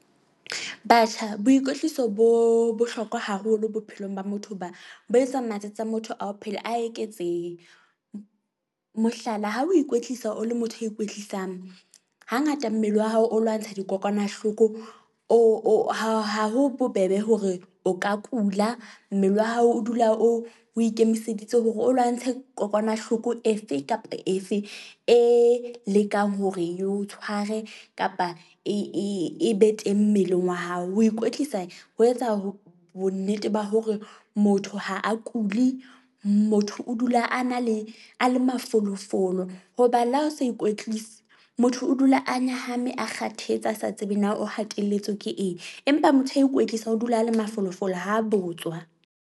Batjha boikwetliso bo bohlokwa haholo bophelong ba motho hoba bo etsa matsatsi a motho a ho phela, a eketsehe. Mohlala, ha o ikwetlisa o le motho a ikwetlisang ha ngata mmele wa hao o lwantsha dikokwanahloko, o o ha ha ha ho bobebe hore o ka kula. Mmele wa hao o dula o ikemiseditse hore o lwantshe kokwanahloko efe kapa efe e lekang hore ye o tshware kapa e e e be teng mmeleng wa hao. Ho ikwetlisa ho etsa ho bonnete ba hore motho ha a kuli. Motho o dula a na le a le mafolofolo, hoba le ha o sa ikwetlise, motho o dula a nyahame, a kgathetse a sa tsebe na o hatelletswe ke eng. Empa motho a ikwetlisang, o dula a le mafolofolo. Ha a botswa.